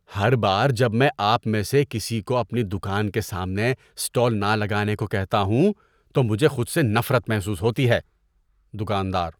ہر بار جب میں آپ میں سے کسی کو اپنی دکان کے سامنے اسٹال نہ لگانے کو کہتا ہوں تو مجھے خود سے نفرت محسوس ہوتی ہے۔ (دکاندار)